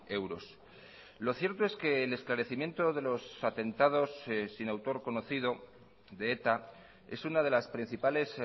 euros lo cierto es que el esclarecimiento de los atentados sin autor conocido de eta es una de las principales